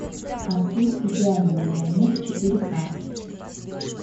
артур идеальный миллионер четыре к